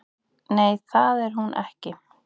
Nei, það er hún ekki